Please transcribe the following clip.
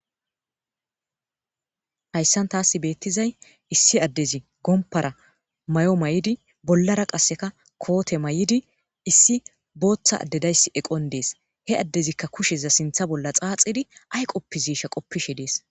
hayssan taas beettizay issi addezi gompara mayo mayidi bollara qasseka koote may7idi issi booththa addedayssi eqon dees he addezikka kusheza sintha bolla xaaxidi ay qoppiziisha qoppishe dees